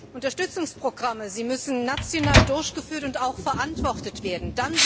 aus. Unterstützungsprogramme müssen national durchgeführt und auch verantwortet werden.